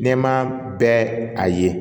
Nɛma bɛɛ a ye